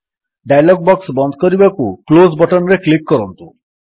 dialog box ବନ୍ଦ କରିବାକୁ close button ରେ କ୍ଲିକ୍ କରନ୍ତୁ